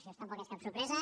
això tampoc és cap sorpresa